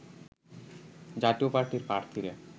জাতীয় পার্টির প্রার্থীরা